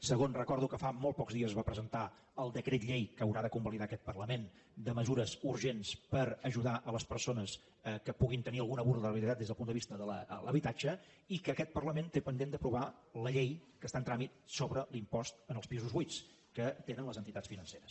segon recordo que fa molt pocs dies es va presentar el decret llei que haurà de convalidar aquest parlament de mesures urgents per ajudar les persones que puguin tenir alguna vulnerabilitat des del punt de vista de l’habitatge i que aquest parlament té pendent d’aprovar la llei que està en tràmit sobre l’impost als pisos buits que tenen les entitats financeres